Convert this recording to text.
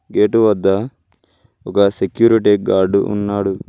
Gate వద్దా ఒక security guard ఉన్నాడు.